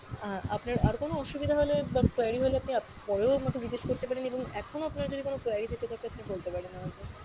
আহ আপনার আর কোনো অসুবিধা হলে বা query হলে আপনি আপ পরেও আমাকে জিজ্ঞেস করতে পারেন এবং এখনও আপনার যদি কোনো query থেকে থাকে আপনি বলতে পারেন আমাকে।